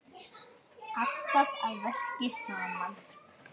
Alltaf að verki saman.